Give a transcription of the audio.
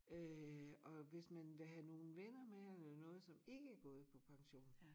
Øh og hvis man vil have nogen venner med eller noget som ikke er gået på pension